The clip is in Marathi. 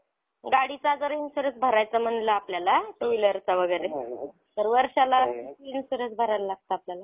गाडीचा जर insurance भरायचा म्हणलं आपल्याला two wheeelerचा वगैरे तर वर्षाला किती insurance भरायला लागतं आपल्याला